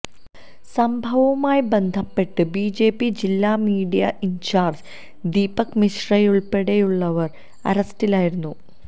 സംഭവവുമായി ബന്ധപ്പെട്ട് ബിജെപി ജില്ലാ മീഡിയ ഇന്ചാര്ജ് ദീപക് മിശ്രയുള്പ്പെടെയുള്ളവര് അറസ്റ്റിലായിരുന്നു